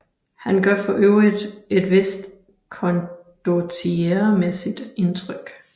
Han gør for øvrigt et vist condottieremæssigt indtryk